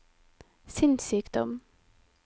sinnssykdom